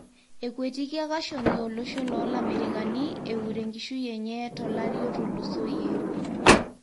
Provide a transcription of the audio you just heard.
Ekuetikia Khashoggi olosho lo lamerikani eure enkisshui enye tolari otulusoyie.